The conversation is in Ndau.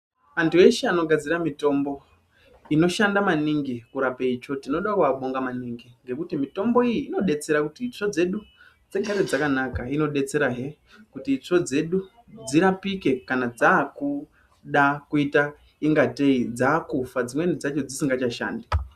Antu eshe anogadzira mutombo inoshanda maningi kurape itsvo tinodakuvabonga maningi. Ngekuti mitombo iyi inobetsera kuti itsvo dzedu dzigare dzakanaka. Inobetserahe kuti itsvo dzedu dzirapike kana dzakuda kuita ingatei dzakufa dzimweni dzacho dzisinga chashandi.